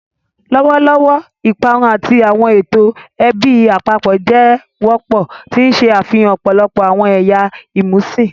Lọwọlọwọ, iparun ati awọn eto ẹbi apapọ jẹ wọpọ, ti n ṣe afihan ọpọlọpọ awọn ẹya imusin.